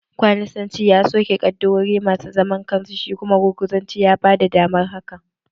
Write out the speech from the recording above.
Kwaninsanci ya soke ƙaddarori masu zaman kansu, shi kuma gurguzanci ya bada damar hakan